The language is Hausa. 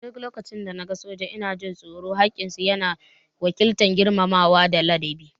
A duk lokacin da na ga sojoji ina jin tsoro, khakin su ya na wakiltar girmamawa da ladabi